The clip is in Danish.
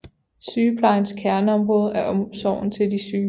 Sygeplejens kerneområde er omsorgen til de syge